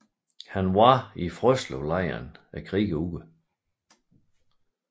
Han var i Frøslevlejren krigen ud